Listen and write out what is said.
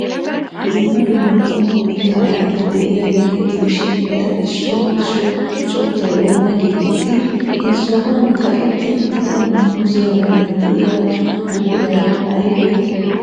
Dumma dumma qommo mitta ayfeti de'iyaageeta gidishin, eta issuwa issuwa sunttay oona geeteettii? He sohuwan kaqetti uttida muuziya matan de'iya buquray aybee?